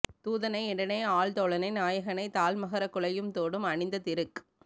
தூதனை என்றனை ஆள் தோழனை நாயகனைத் தாழ் மகரக் குழையும் தோடும் அணிந்த திருக்